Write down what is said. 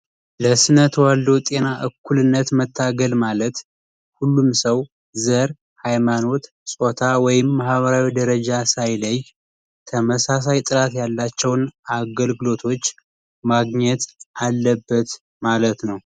የስነ ተዋልዶ ጤና እኩልነት መታገል ማለት ሁሉም ሰው ዘር ሃይማኖት ጾታ ወይም ማህበራዊ ደረጀ ኃይሌ ጥራት ያላቸውን አገልግሎቶች ማግኘት አለበት ማለት ነው።